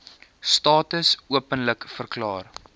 status openlik verklaar